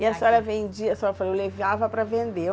E a senhora vendia, a senhora falou, eu levava para vender.